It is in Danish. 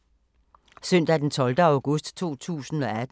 Søndag d. 12. august 2018